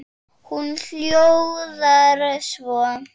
Hún hljóðar svo